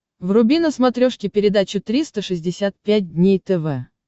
вруби на смотрешке передачу триста шестьдесят пять дней тв